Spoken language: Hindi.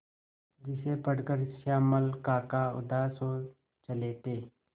जिसे पढ़कर श्यामल काका उदास हो चले थे